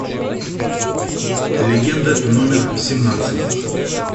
легенда номер семнадцать